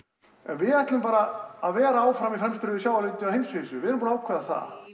við ætlum bara að vera áfram í fremstu röð í sjávarútvegi á heimsvísu við erum búin að ákveða það